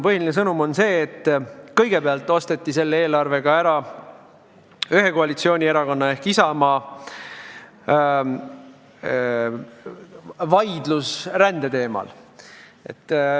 Põhiline sõnum on see, et kõigepealt osteti selle eelarvega ära üks koalitsioonierakond ehk Isamaa, kes vaidles rändelepingu vastu.